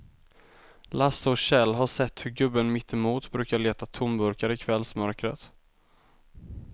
Lasse och Kjell har sett hur gubben mittemot brukar leta tomburkar i kvällsmörkret.